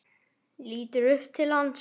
Lítur upp til hans.